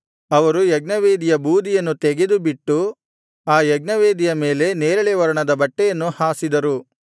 ಅವರು ಯಜ್ಞವೇದಿಯ ಬೂದಿಯನ್ನು ತೆಗೆದುಬಿಟ್ಟು ಆ ಯಜ್ಞವೇದಿಯ ಮೇಲೆ ನೇರಳೆ ವರ್ಣದ ಬಟ್ಟೆಯನ್ನು ಹಾಸಿದರು